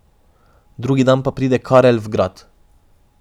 Drugi dan pa pride Karel v grad.